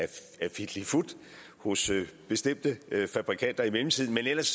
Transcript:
fitlifut hos bestemte fabrikanter i mellemtiden men ellers